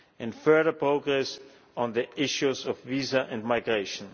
and further progress on the issues of visa and migration.